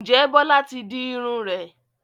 Ǹjẹ́ Bọ́lá ti di irun rẹ̀?